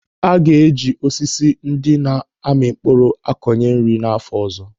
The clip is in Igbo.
A ga-eji osisi ndị na-ami mkpụrụ akọnye nri n'áfọ ọzọ.